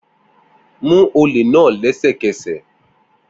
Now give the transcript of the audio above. Mu ole naa lẹsẹkẹsẹ!